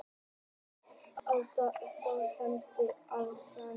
Hálsinn er þó helmingurinn af þeirri hæð.